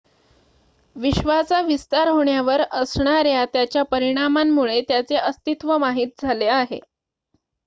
विश्वाचा विस्तार होण्यावर असणाऱ्या त्याच्या परिणामांमुळे त्याचे अस्तित्व माहित झाले आहे